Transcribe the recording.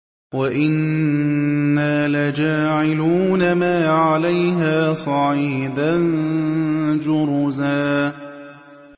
وَإِنَّا لَجَاعِلُونَ مَا عَلَيْهَا صَعِيدًا جُرُزًا